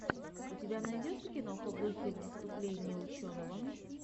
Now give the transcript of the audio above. у тебя найдется киноха в духе выступления ученого